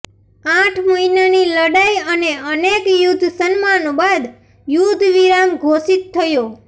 આઠ મહિનાની લડાઈ અને અનેક યુદ્ધ સન્માનો બાદ યુદ્ધવિરામ ઘોષિત થયો